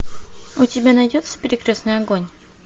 у тебя найдется перекрестный огонь